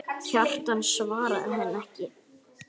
Kjartan svaraði henni ekki.